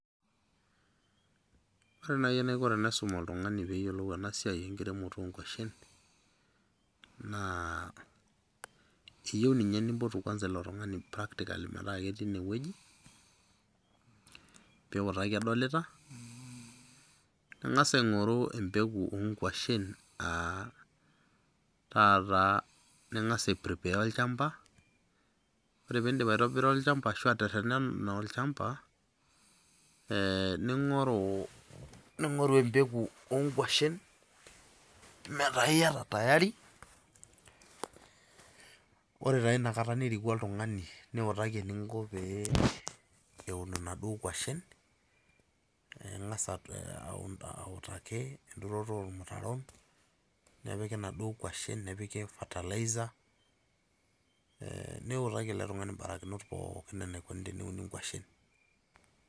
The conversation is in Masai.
Ore nai enaiko tenaisum oltung'ani peyiolou enasiai enkiremoto onkwashen, naa kiyieu ninye nimpotu kwanza ilo tung'ani practically metaa ketii inewueji, piutaki edolita, ning'asa aing'oru empeku onkwashen, ataata, ning'asa ai prepare olchamba, ore pidip aitobira olchamba ashu aterrerrena olchamba, ning'oru empeku onkwashen, metaa iyata tayari ,ore taa inakata niriku oltung'ani, niutaki eninko pee eun inaduo kwashen, ing'asa autaki enturoto ormutaron, nepiki naduo kwashen, nepiki fertiliser, niutaki ele tung'ani mbarakinot pookin enaikoni teneuni nkwashen.